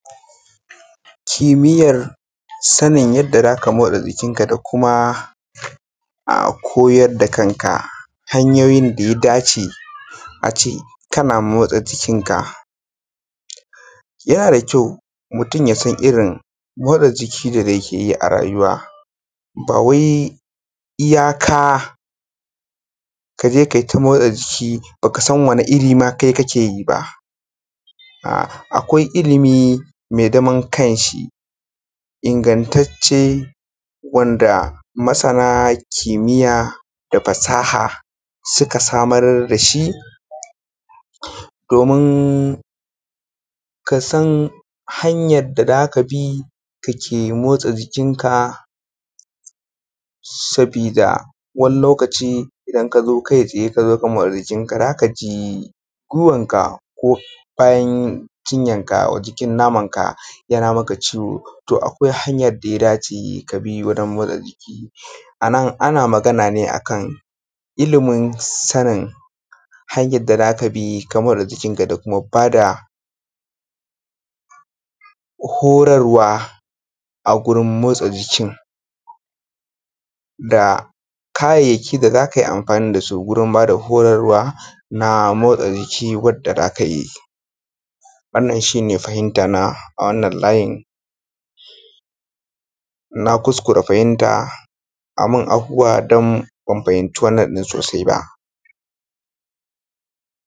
Kimiyar sanin yadda zaka motsa jikinka da kuma a koyar da kanka hanyoyin da ya dace ace kana motsa jikinka. Yana da kyau mutum yasan irin motsa jiki da yake yi a rayuwa ba wai iya ka kaje kai ta motsa jiki baka san wani iri kaima kake yi ba, a’a akwai ilimi mai zaman kan shi ingantace wanda masana kimiya da fasaha suka samar dashi domun, kasan hanyar da zaka bi kake motsa jikinka sabida wani lokaci idan ka zo kai tsaye ka zo ka motsa jikinka zaka ji gwiwanka ko bayan cinyanka jikin namanka yana maka ciwo to akwai hanyan da ya dace kabi wajen motsa jiki. Anan ana magana ne akan ilimin sanin hanyar da zaka bi ka motsa jikinka da kuma bada horarwa a gurin motsa jikin, da kayayyaki da za kai amfani da su gurin bada horarwa na motsa jiki wadda zaka yi. Wannan shi ne fahimtana a wannan layin, na kuskura fahimta ai min afuwa don ban fahimci wannan din sosai ba.